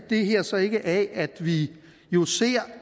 det her så ikke af at vi jo ser